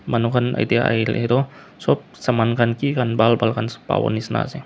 manu khan etia ahele tu sob saman khan ki khan ban ban khan sob pabo nisna ase.